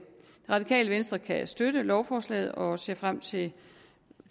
radikale venstre kan støtte lovforslaget og ser frem til